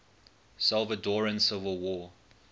salvadoran civil war